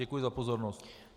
Děkuji za pozornost.